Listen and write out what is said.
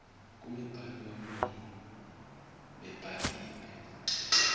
kumibhalo yomlomo nebhaliwe